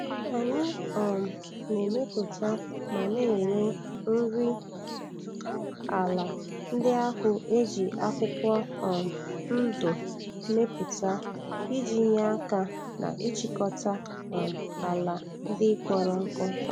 Anyị um na-emepụta ma na-ere.nri ala ndị ahụ e ji akwụkwọ um ndụ mepụuta iji nye aka n'ịchịkọta um ala ndị kpọrọ nkụ.